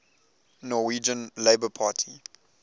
norwegian labour party